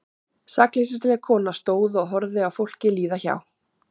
Sakleysisleg kona stóð og horfði á fólkið líða hjá.